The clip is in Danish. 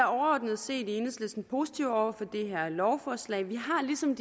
overordnet set positive over for det her lovforslag vi har ligesom